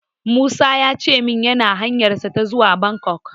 Musa ya ce min yana hanyarsa ta zuwa Bangkok.